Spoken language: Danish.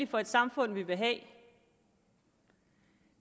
for et samfund vi vil have